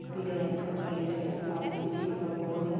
पीलें रंग का पेंट है। सामने बिजली का बोर्ड है।